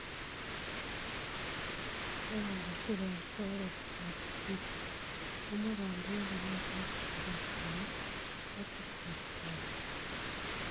ye kon kosir en soet ab twitter, komwa kondoindet nondon bo Zimbabwe kole mache kobiit kalyet